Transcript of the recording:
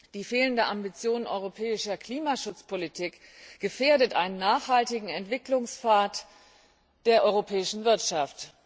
Die fehlende Ambitioniertheit der europäischen Klimaschutzpolitik gefährdet einen nachhaltigen Entwicklungspfad der europäischen Wirtschaft.